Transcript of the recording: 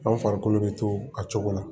Aw farikolo bɛ to a cogo la